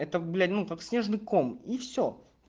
это блять ну как снежный ком и всё